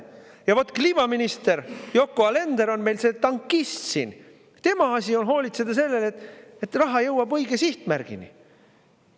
Ja vot kliimaminister Yoko Alender on meil see tankist siin, tema asi on hoolitseda selle eest, et raha jõuab õige sihtmärgini.